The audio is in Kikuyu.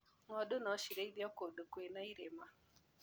Ng'ondu nocirĩithio kũndũ kwĩna irĩma.